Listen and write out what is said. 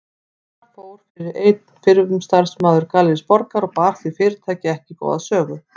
Þar fór fyrir einn fyrrum starfsmaður Gallerís Borgar og bar því fyrirtæki ekki góða sögu.